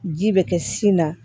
Ji bɛ kɛ sin na